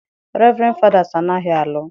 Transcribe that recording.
Reverend Father's anaghị alụ.